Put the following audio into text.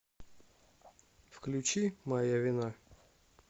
включи моя вина